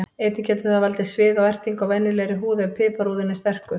Einnig getur það valdið sviða og ertingu á venjulegri húð ef piparúðinn er sterkur.